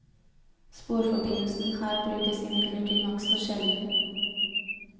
Sporforbindelsen her brukes imidlertid nokså sjelden.